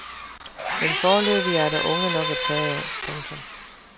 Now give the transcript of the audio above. Men foreløbig er der unge nok at tage af. punktum